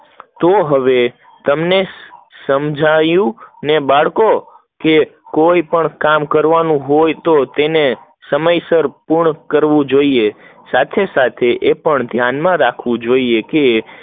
તો હવે તમને સમજાયું ને બાળકો કોઈ પણ કે કામ કરવું હોય તો સંસાર પૂર્ણ કરવું જોઈએ, સાથે સાથે તે ધ્યાન માં રાખવું જોઈએ